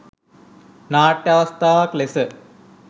නාට්‍ය අවස්ථාවක් ලෙස